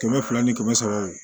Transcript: Kɛmɛ fila ni kɛmɛ saba